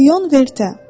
Lion Vertə.